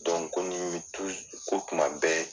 ko ni ko kuma bɛɛ